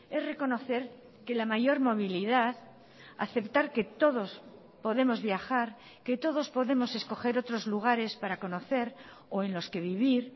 es reconocer que la mayor movilidad aceptar que todos podemos viajar que todos podemos escoger otros lugares para conocer o en los que vivir